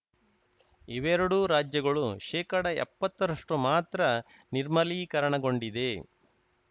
ಇವೆರಡೂ ರಾಜ್ಯಗಳು ಶೇಕಡಎಪ್ಪತ್ತರಷ್ಟುಮಾತ್ರ ನಿರ್ಮಲೀಕರಣಗೊಂಡಿದೆ